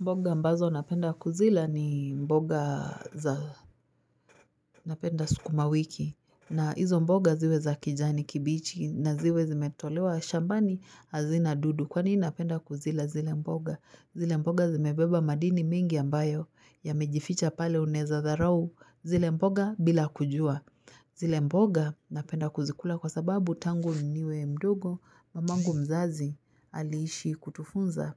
Mboga ambazo napenda kuzila ni mboga za napenda sukuma wiki na hizo mboga ziwe za kijani kibichi na ziwe zimetolewa shambani hazina dudu Kwa nini napenda kuzila zile mboga? Zile mboga zimebeba madini mingi ambayo yamejificha pale unaeza dharau zile mboga bila kujua zile mboga napenda kuzikula kwa sababu tangu niwe mdogo mamangu mzazi aliishi kutufunza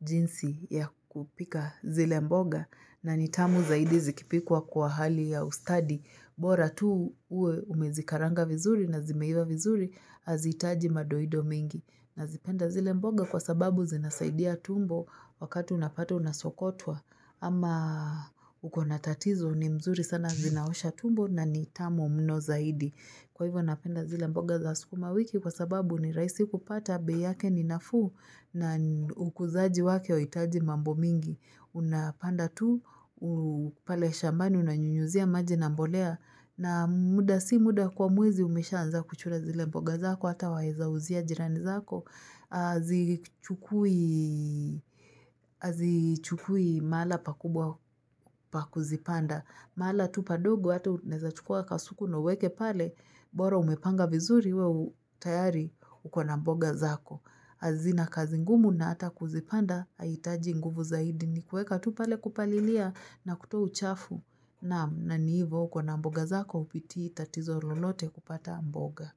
jinsi ya kupika zile mboga na ni tamu zaidi zikipikwa kwa hali ya ustadi bora tu uwe umezikaranga vizuri na zimeiva vizuri hazihitaji madoido mingi nazipenda zile mboga kwa sababu zinasaidia tumbo wakati unapata unasokotwa ama uko na tatizo ni mzuri sana zinaosha tumbo na ni tamu mno zaidi. Kwa hivyo napenda zile mboga za sukumawiki kwa sababu ni rahisi kupata bei yake ni nafuu na ukuzaji wake huitaji mambo mingi. Unapanda tu, pale shambani unanyunyuzia maji na mbolea na muda si muda kwa mwezi umeshaanza kuchuna zile mboga zako hata waeza uzia jirani zako. Hazichukui mahala pakubwa pa kuzipanda Mahala tu padogo hatu unaeza chukua kasuku na uweke pale bora umepanga vizuri wewe tayari uko na mboga zako hazina kazi ngumu na hata kuzipanda Haitaji nguvu zaidi ni kueka tu pale kupalilia na kutoa uchafu na ni hivo uko na mboga zako hupitii tatizo lolote kupata mboga.